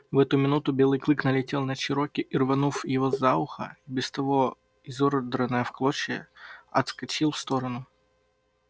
в эту минуту белый клык налетел на чероки и рванув его за ухо и без того изодранное в клочья отскочил в сторону